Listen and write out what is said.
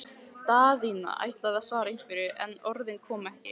Daðína ætlaði að svara einhverju, en orðin komu ekki.